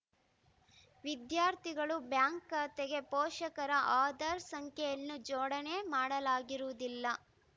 ವಿದ್ಯಾರ್ಥಿಗಳು ಬ್ಯಾಂಕ್‌ ಖಾತೆಗೆ ಪೋಷಕರ ಆಧಾರ್‌ ಸಂಖ್ಯೆಯನ್ನು ಜೋಡಣೆ ಮಾಡಲಾಗಿರುವುದಿಲ್ಲ